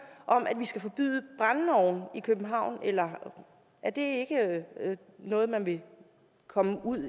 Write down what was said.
om at vi skal forbyde brændeovne i københavn eller er det ikke noget vi vil komme ud